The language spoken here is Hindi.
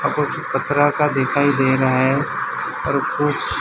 पथरा का दिखाई दे रहा है और उस।